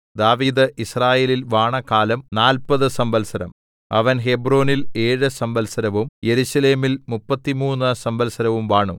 ദാവീദ് യിസ്രായേലിൽ വാണകാലം നാല്പതു സംവത്സരം അവൻ ഹെബ്രോനിൽ ഏഴ് സംവത്സരവും യെരൂശലേമിൽ മുപ്പത്തിമൂന്ന് സംവത്സരവും വാണു